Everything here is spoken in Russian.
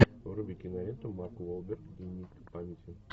вруби киноленту марк уолберг дневник памяти